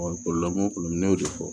ne y'o de fɔ